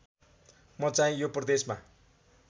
म चाहिँ यो प्रदेशमा